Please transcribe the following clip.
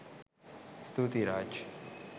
ස්තුතියි රාජ්